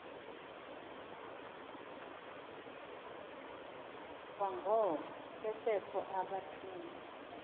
kwangoko besekho abathunywa